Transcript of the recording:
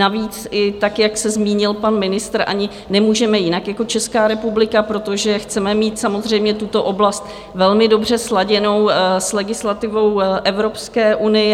Navíc, i tak jak se zmínil pan ministr, ani nemůžeme jinak jako Česká republika, protože chceme mít samozřejmě tuto oblast velmi dobře sladěnou s legislativou Evropské unie.